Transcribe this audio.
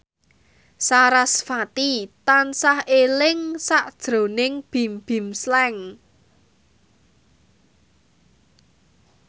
sarasvati tansah eling sakjroning Bimbim Slank